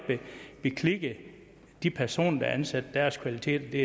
beklikke de personer der er ansat og deres kvaliteter det